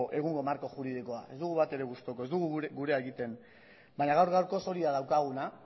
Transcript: egungo marko juridikoa ez dugu batere gustuko ez dugu gurea egiten baina gaur gaurkoz hori da daukaguna